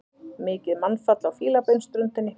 Mikið mannfall á Fílabeinsströndinni